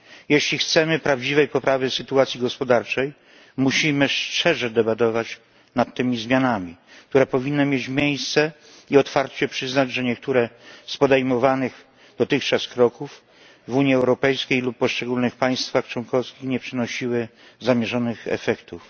Jeśli chcemy prawdziwej poprawy sytuacji gospodarczej, musimy szczerze debatować nad tymi zmianami, do których powinno dojść, i otwarcie przyznać, że niektóre z podejmowanych dotychczas kroków w Unii Europejskiej lub w poszczególnych państwach członkowskich nie przynosiły zamierzonych efektów.